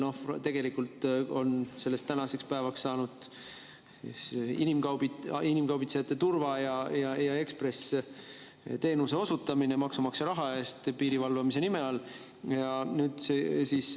Sellest on tänaseks päevaks saanud inimkaubitsejatele turva‑ ja ekspressteenuse osutamine maksumaksja raha eest piirivalvamise nime all.